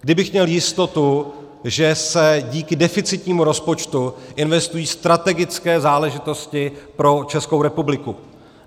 Kdybych měl jistotu, že se díky deficitnímu rozpočtu investují strategické záležitosti pro Českou republiku.